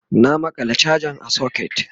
na maƙala chajan a socket